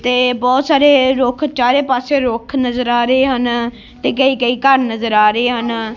ਤੇ ਬੋਹੁਤ ਸਾਰੇ ਰੁੱਖ ਚਾਰੇ ਪਾੱਸੇ ਰੁੱਖ ਨਜ਼ਰ ਆ ਰਹੇ ਹਨ ਤੇ ਕਹਿੰ ਕਹਿੰ ਘੱਰ ਨਜ਼ਰ ਆ ਰਹੇ ਹਨ।